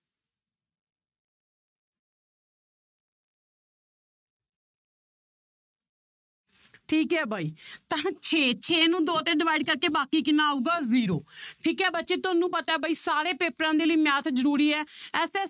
ਠੀਕ ਹੈ ਬਾਈ ਤਾਂ ਛੇ ਛੇ ਨੂੰ ਦੋ ਤੇ divide ਕਰਕੇ ਬਾਕੀ ਕਿੰਨਾ ਆਊਗਾ zero ਠੀਕ ਹੈ ਬੱਚੇ ਤੁਹਾਨੂੰ ਪਤਾ ਹੈ ਬਾਈ ਸਾਰੇ ਪੇਪਰਾਂ ਦੇ ਲਈ math ਜ਼ਰੂਰੀ ਹੈ